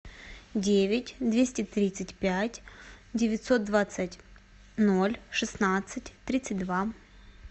девять двести тридцать пять девятьсот двадцать ноль шестнадцать тридцать два